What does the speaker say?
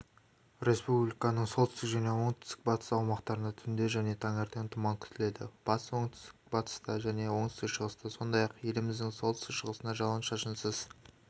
республиканың солтүстік және оңтүстік-батыс аумақтарында түнде және таңертең тұман күтіледі батыс оңтүстік-батыста және оңтүстік-шығыста сондай-ақ еліміздің солтүстік-шығысында жауын-шашынсыз